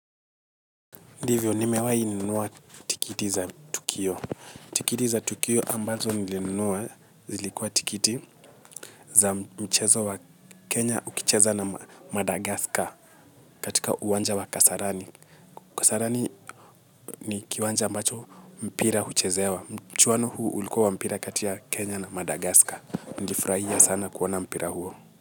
Ndivyo, nimewahi nunua tikiti za tukio. Tikiti za tukio ambazo nilinunua, zilikuwa tikiti za mchezo wa Kenya ukicheza na Madagascar, katika uwanja wa kasarani. Kasarani ni kiwanja ambacho mpira huchezewa. Mchuano huu ulikuwa wa mpira kati ya Kenya na Madagascar. Nlifurahia sana kuona mpira huo.